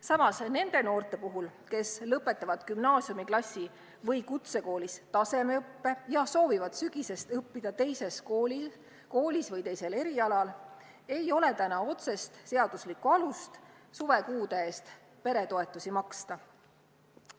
Samas, nende noorte puhul, kes lõpetavad gümnaasiumiklassi või kutsekoolis tasemeõppe ja soovivad sügisest õppida teises koolis või teisel erialal, ei ole täna otsest seaduslikku alust suvekuude eest lapsetoetust maksta.